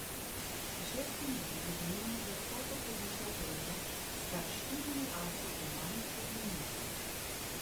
V šesti igri je denimo z lahkoto povišal prednost s kar štirimi asi v manj kot minuti.